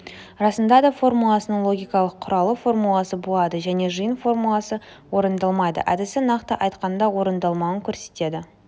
расындада формуласының логикалық құралы формуласы болады және жиын формуласы орындалмайды әдісі нақты айтқанда орындалмауын көрсетеді